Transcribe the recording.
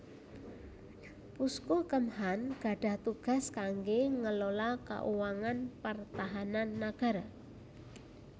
Pusku Kemhan gadhah tugas kanggé ngelola kauangan pertahanan nagara